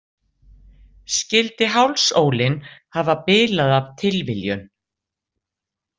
Skyldi hálsólin hafa bilað af tilviljun?